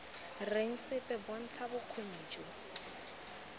reng sepe bontsha bokgoni jo